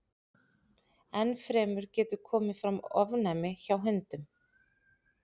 Enn fremur getur komið fram ofnæmi hjá hundum.